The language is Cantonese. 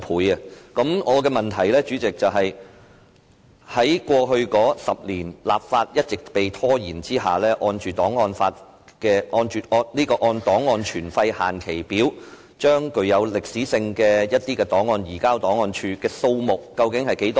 主席，我的補充質詢是，在過去10年一直拖延立法的情況下，按照檔案存廢期限表把具歷史價值的檔案移交檔案處的數目為何？